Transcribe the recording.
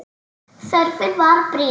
Þörfin var brýn.